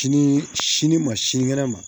Sini sini ma sinikɛnɛ ma